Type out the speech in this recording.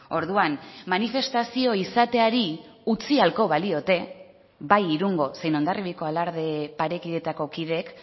orduan manifestazio izateari utzi ahalko baliote bai irungo zein hondarribiako alarde parekideetako kideek